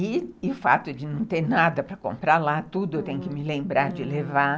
E o fato de não ter nada para comprar lá, tudo eu tenho que me lembrar de levar.